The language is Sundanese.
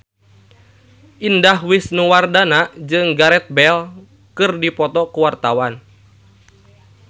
Indah Wisnuwardana jeung Gareth Bale keur dipoto ku wartawan